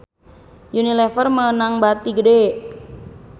Unilever meunang bati gede